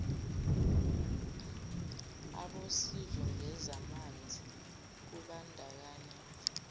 abosizo ngezamanzi kubandakanywa